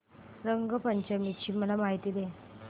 रंग पंचमी ची मला माहिती दे